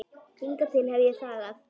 Hingað til hef ég þagað.